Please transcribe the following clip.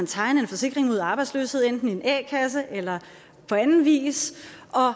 tegne en forsikring mod arbejdsløshed enten i en a kasse eller på anden vis